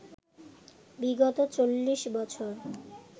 বিগত চল্লিশ বছর